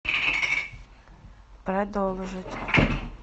продолжить